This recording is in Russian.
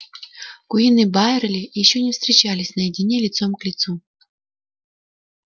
куинн и байерли ещё не встречались наедине лицом к лицу